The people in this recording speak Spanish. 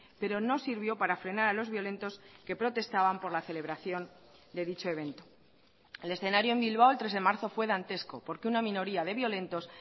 pero no sirvió para frenar a los violentos que protestaban por la celebración de dicho evento el escenario en bilbao el tres de marzo fue dantesco porque una minoría de violentos